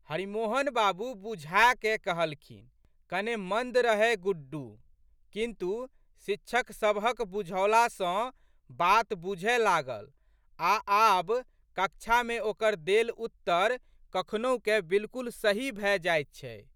हरिमोहन बाबू बुझाकए कहलखिन। कने मन्द रहए गुड्डू किन्तु, शिक्षक सबहक बुझौला सँ बात बूझए लागल आ' आब कक्षामे ओकर देल उत्तर कखनहुकए बिल्कुल सही भए जाइत छै।